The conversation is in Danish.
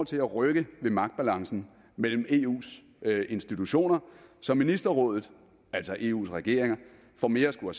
til at rykke ved magtbalancen mellem eus institutioner så ministerrådet altså eus regeringer får mere at skulle